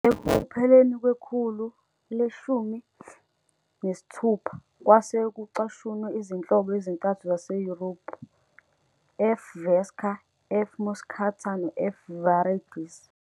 Ekupheleni kwekhulu le-16 kwase kucashunwe izinhlobo ezintathu zaseYurophu- "F. vesca", "F. moschata", no- "F". viridis.